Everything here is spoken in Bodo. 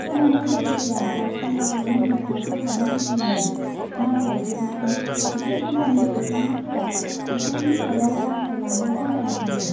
खोनानाय बादिब्ला वाजपेयीया म'दिखौ बोखारनो लुगैयोमोन, नाथाय जोबनायाव बे हान्जानि सोद्रोमाफोरा बिथांनि सायाव दांथाइ लानो गनायाखैमोन।